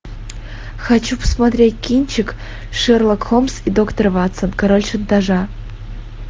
хочу посмотреть кинчик шерлок холмс и доктор ватсон король шантажа